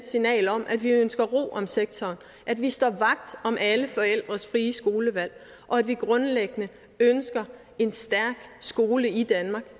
signal om at vi ønsker ro om sektoren at vi står vagt om alle forældres frie skolevalg og at vi grundlæggende ønsker en stærk skole i danmark